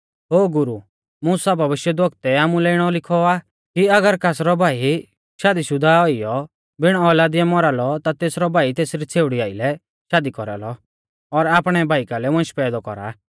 ओ गुरु मुसा भविष्यवक्तुऐ आमुलै इणौ लिखौ आ कि अगर कासरौ भाई शादीशुदा औइयौ बिण औलादीऐ मौरा लौ ता तेसरौ भाई तेसरी छ़ेउड़ी आइलै शादी कौरालौ और आपणै भाई कालै वंश पैदौ कौरा